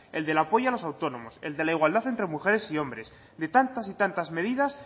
el del apoyo a los autónomos el de la igualdad entre mujeres y hombres de tantas y tantas medidas